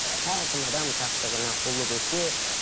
әркім адам тақты күні ұлы көсе